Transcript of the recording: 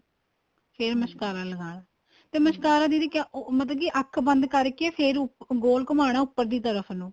ਫੇਰ mascara ਲਗਾਣਾ mascara ਦੀਦੀ ਕਿਹਾ ਮਤਲਬ ਕੀ ਅੱਖ ਬੰਦ ਕਰਕੇ ਫ਼ੇਰ ਗੋਲ ਘੁਮਣਾ ਉੱਪਰ ਦੀ ਤਰਫ਼ ਨੂੰ